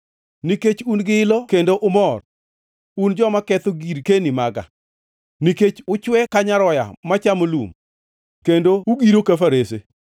“Nikech un gi ilo kendo umor, un joma ketho girkeni maga, nikech uchwe ka nyaroya machamo lum kendo ugiro ka farese,